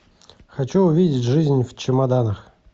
хочу увидеть жизнь в чемоданах